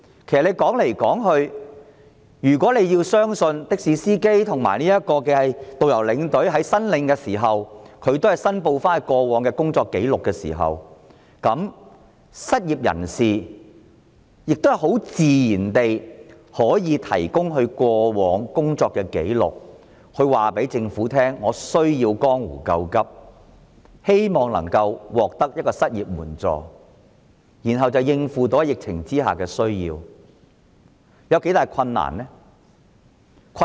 其實，如果政府可以相信的士司機、導遊和領隊申領津貼所填報的工作紀錄，那麼失業人士自然也可以提供他們過往的工作紀錄，告訴政府他們需要江湖救急，希望獲得失業援助，以應付疫情下的需要，這有多大困難呢？